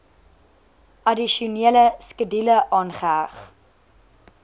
addisionele skedule aangeheg